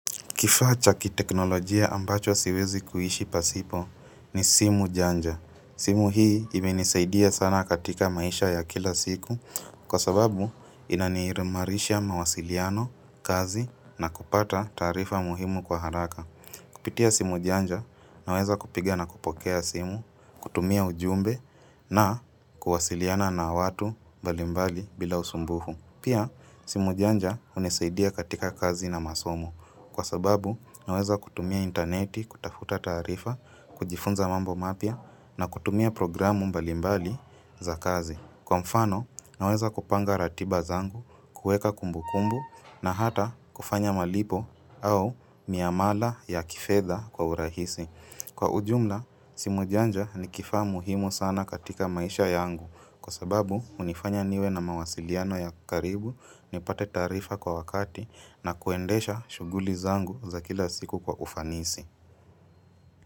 Kifacha kiteknolojia ambacho siwezi kuishi pasipo ni simu janja. Simu hii imenisaidia sana katika maisha ya kila siku kwa sababu inanirimarisha mawasiliano, kazi na kupata tarifa muhimu kwa haraka. Kupitia simu janja, naweza kupigia na kupokea simu, kutumia ujumbe na kuwasiliana na watu mbalimbali bila usumbufu. Pia, simu janja hunisaidia katika kazi na masomo. Kwa sababu, naweza kutumia interneti, kutafuta tarifa, kujifunza mambo mapia na kutumia programu mbalimbali za kazi. Kwa mfano, naweza kupanga ratiba zangu, kueka kumbu kumbu na hata kufanya malipo au miamala ya kifedha kwa urahisi. Kwa ujumla, simu janja ni kifa muhimu sana katika maisha yangu kwa sababu unifanya niwe na mawasiliano ya karibu ni pate tarifa kwa wakati na kuendesha shuguli zangu za kila siku kwa ufanisi.